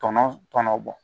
Tɔnɔ tɔnɔ bɔ